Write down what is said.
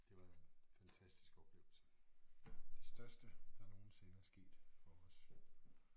Det var en fantastisk oplevelse. Det største der nogensinde er sket for os